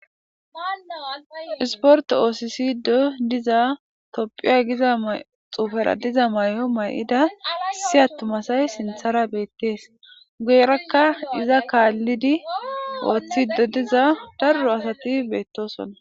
Issiportte oththissido diiza tophphiya giiza xuugera diiza mayo mayida issi atuma asay sinththara bettes guyeraka izza kallidi oththido diiza daaro asati bettossona.